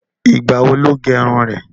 Ìgbà wo lo gẹrun rẹ?